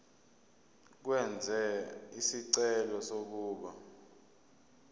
ukwenza isicelo sokuba